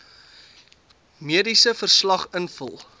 mediese verslag invul